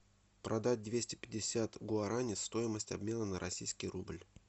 продать двести пятьдесят гуарани стоимость обмена на российский рубль